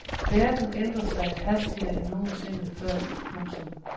Verden ændrer sig hastigere end nogensinde før. punktum